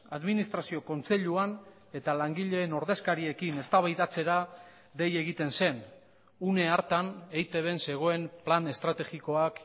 administrazio kontseiluan eta langileen ordezkariekin eztabaidatzera dei egiten zen une hartan eitbn zegoen plan estrategikoak